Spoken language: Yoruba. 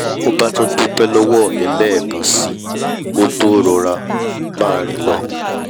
ó bá tún dúpẹ́ lọ́wọ́ mi lẹ́ẹ̀kan síi kó tó máa rọra rìn lọ